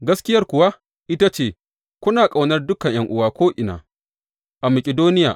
Gaskiyar kuwa ita ce, kuna ƙaunar dukan ’yan’uwa ko’ina a Makidoniya.